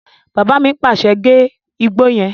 Bàbá mi pàṣẹ, "gé igbó yẹn!"